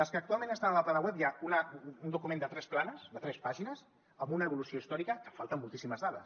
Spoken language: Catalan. les que actualment estan a la plana web hi ha un document de tres planes de tres pàgines amb una evolució històrica que falten moltíssimes dades